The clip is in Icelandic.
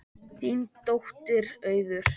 Þín dóttir Auður.